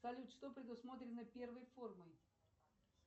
салют что предусмотрено первой формой